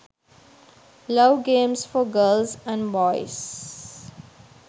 love games for girls and boys